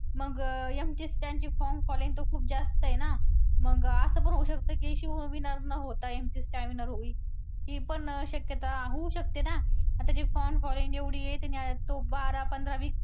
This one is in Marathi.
मग MC Stan ची fan following तर खूप जास्त आहे ना मग असं पण होऊ शकतं की शिव winner न होता MC Stan winner होईल ही पण शक्यता होऊ शकते ना आता fan following एवढी आहे तो बारा पंधरा